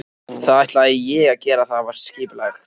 Það ætlaði ég að gera og það var skipulagt.